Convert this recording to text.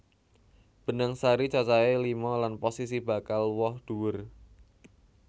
Benang sari cacahé lima lan posisi bakal woh dhuwur